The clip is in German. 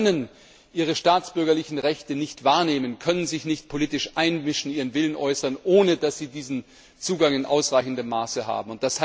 Bürger können ihre staatsbürgerlichen Rechte nicht wahrnehmen, können sich nicht politisch einmischen, ihren Willen äußern, ohne dass sie diesen Zugang in ausreichendem Maße haben.